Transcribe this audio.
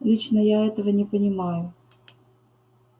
лично я этого не понимаю